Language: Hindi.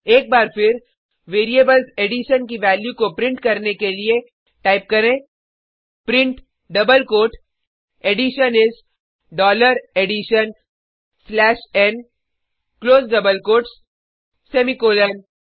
एक बार फिर वेरिएबल्स एडिशन की वैल्यू को प्रिंट करने के लिए टाइप करें print double quote addition is dollar addition slash n close double quotes semicolon